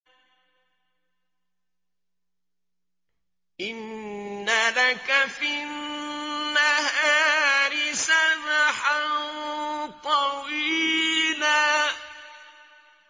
إِنَّ لَكَ فِي النَّهَارِ سَبْحًا طَوِيلًا